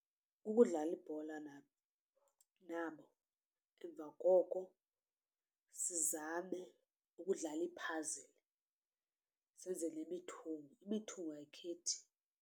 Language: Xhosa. Kukudlala ibhola nabo nabo emva koko sizame ukudlala ii-puzzle senze nemithungo. Imithungo ayikhethi.